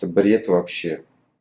это бред вообще